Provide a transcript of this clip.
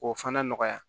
K'o fana nɔgɔya